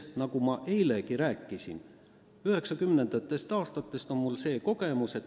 Nagu ma eilegi rääkisin, 1990. aastatest on mul säärane kogemus.